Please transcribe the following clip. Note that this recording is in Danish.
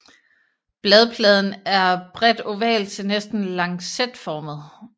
Bladpladen er bredt oval til næsten lancetformet